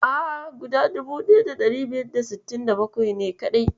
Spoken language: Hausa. A'a, guda 1567 ne kaɗai.